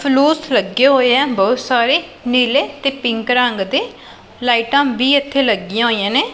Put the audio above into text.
ਫਲੂਸ ਲੱਗੇ ਹੋਏ ਆ ਬਹੁਤ ਸਾਰੇ ਨੀਲੇ ਤੇ ਪਿੰਕ ਰੰਗ ਦੇ ਲਾਈਟਾਂ ਵੀ ਇਥੇ ਲੱਗੀਆਂ ਹੋਈਆਂ ਨੇ।